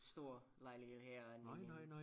Stor lejlighed herinde i en